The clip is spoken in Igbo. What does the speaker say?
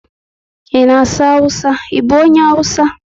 I na asụ awụsa, I bụ onye awụsa?